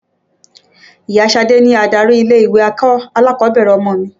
Ìya Ṣadé ni adarí ilé-ìwé alákọ̀ọ́bẹ̀rẹ̀ ọmọ mi.